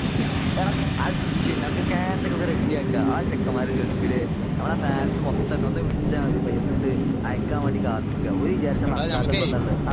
എടാ അതൊന്നും ഒരു വിഷയമല്ല നമുക്ക് കാഷ് ഒക്കെ നമുക്ക് റെഡി ആക്കാ നമ്മളെ ചെക്കന്മാര് ഗള്ഫില് നമ്മളെ ഫാൻസ് മൊത്തമുണ്ട് ഒന്ന് വിളിച്ചാൽ മതി. പൈസ ഇങ്ങട് അയക്കാൻ വേണ്ടി കാത്ത് നില്ക്കാ . ഓര് വിചാരിച്ചാ ഇപ്പോ നടക്കാത്തത് എന്താ ഉള്ളത് ?